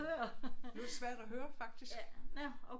Det var svært at høre faktisk